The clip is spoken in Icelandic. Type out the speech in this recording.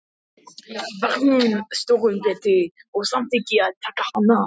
Var hún stórum betri, og samþykkti ég að taka hana.